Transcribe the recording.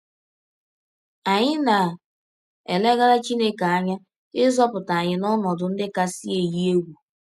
Anyị na - elegara Chineke anya ịzọpụta anyị n’ọnọdụ ndị kasị eyi egwụ.